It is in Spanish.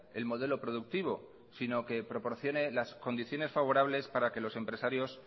el modelo productivo sino que proporcione las condiciones favorables para que los empresarios